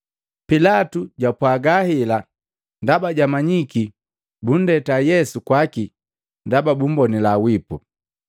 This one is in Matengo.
Pilatu jwapwaga hela ndaba jwamanyiki bundeta Yesu kwaki ndaba bumbonila wipu.